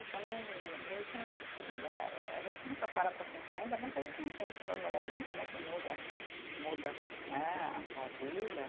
É que eu não, meio que não, né e a gente nunca para pensar, ainda bem que a gente não pensa no no momento né que muda, muda tu, né a tua vida.